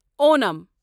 Onam